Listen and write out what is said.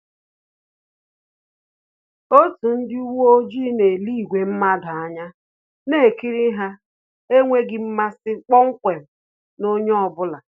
Otu ndị uweojii na-ele ìgwè mmadụ anya, na-ekiri ha n’enweghị mmasi kpọmkwem na onye ọ bụla